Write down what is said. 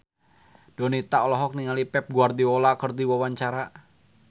Donita olohok ningali Pep Guardiola keur diwawancara